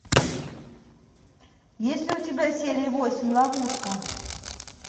есть ли у тебя серия восемь ловушка